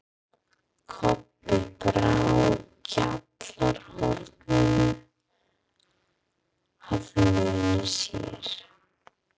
Kobbi brá gjallarhorninu að munni sér.